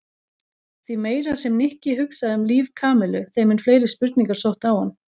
Því meira sem Nikki hugsaði um líf Kamillu þeim mun fleiri spurningar sóttu á hann.